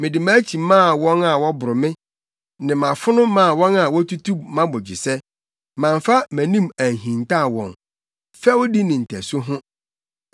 Mede mʼakyi maa wɔn a wɔboro me, ne mʼafono maa wɔn a wotutu mʼabogyesɛ. Mamfa mʼanim anhintaw wɔn fɛwdi ne ntasu ho.